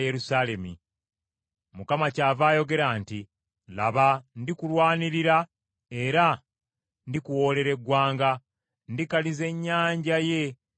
Mukama kyava ayogera nti, “Laba ndikulwanirira era ndikuwolerera eggwanga; Ndikaliza ennyanja ye n’ensulo ze.